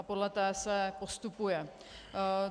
A podle té se postupuje.